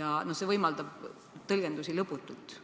ja see võimaldab tõlgendusi lõputult.